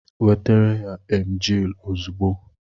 Nwetere ya emgyl ozugbo!